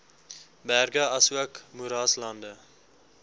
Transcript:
berge asook moeraslande